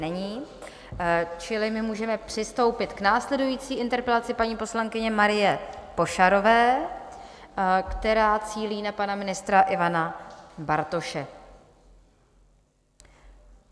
Není, čili my můžeme přistoupit k následující interpelaci paní poslankyně Marie Pošarové, která cílí na pana ministra Ivana Bartoše.